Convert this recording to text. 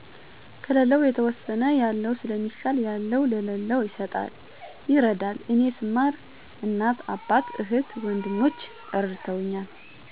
ከለለው የተወሰነ ያለው ሰለሚሻል ያለው ለለው ይሰጣል ይረዳል እኔ ሰማር እናት አባት፣ እህት ወንድሞቸ እረድተውኛል።